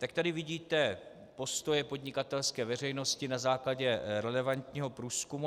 Tak tady vidíte postoje podnikatelské veřejnosti na základě relevantního průzkumu.